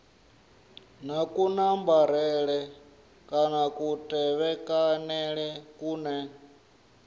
na kunambarele kana kutevhekanele kune